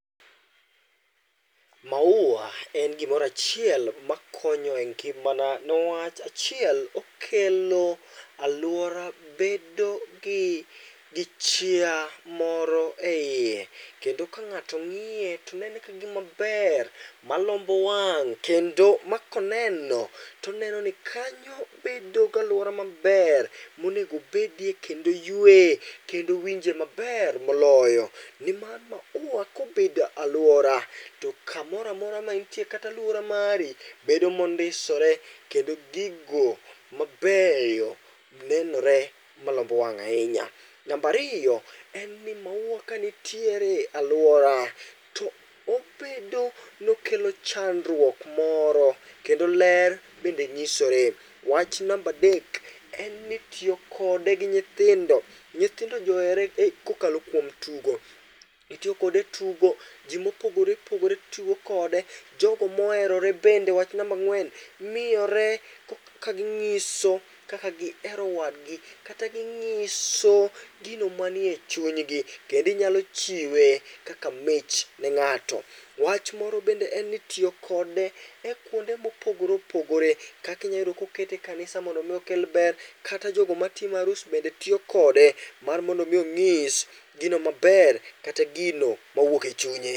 Mauwa en gimoro achiel makonyo engimana niwach achiel okelo aluora bedo gi gi chia moro eiye kendo ka ng'ato ng'iye to neno ka gima ber malombo wang' kendo makoneno to oneno ni kanyo bedo gi luora mab er mo nego obedie ken do oyueye kendo owinjie maber moloyo. Nimar mauwa kobedo e aluora to kamoro amora ma entie bedo mondisore kendo gigo mab eyo nenore malombo wa ng' ahinya. Mar ariyo, mauwa kanitiere e aluora to obedo nmi okelo chandruok moro kendo ler bende nyisore. Wach namba adek, en ni tiyo kode gi nyithindo, nyithindo johere kokalo kuom tugo. Itiyo kode etugo, ji mopogore opogore tiyo kode, jogo moherore bende wach namba ang'wen miyore kaginyiso kaka gihero wadgi kata ginyiso gio manie chuny gi. Kendo inyalo chiwe kaka mich ni ng'ato. Wach moro bende en ni itiyo kode e kuonde mopogore opogore, kaka inyalo yudo ni itiyo kode e kanisa mondo mi okel ber, kata jogo matimo arus bende tiyo kode mar mondo mi onyis gino maber kata gino mowuok e chunye.